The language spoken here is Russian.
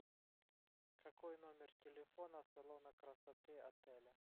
какой номер телефона салона красоты отеля